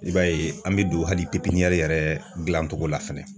I b'a ye an mi don hali yɛrɛ gilancogo la fɛnɛ